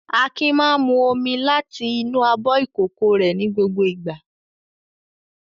Akin máa ń mu omi láti inú abọ́ ìkókó rẹ̀ ní gbogbo ìgbà.